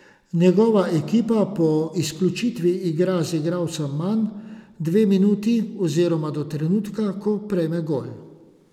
Njegova ekipa po izključitvi igra z igralcem manj dve minuti oziroma do trenutka, ko prejme gol.